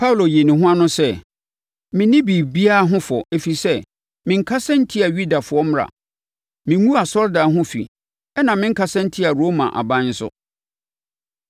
Paulo yii ne ho ano sɛ, “Menni biribiara ho fɔ, ɛfiri sɛ, menkasa ntiaa Yudafoɔ mmara; menguu asɔredan ho fi, ɛnna menkasa ntiaa Roma aban nso.”